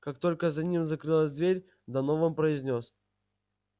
как только за ним закрылась дверь донован произнёс